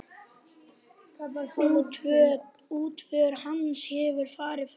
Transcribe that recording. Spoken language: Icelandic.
Útför hans hefur farið fram.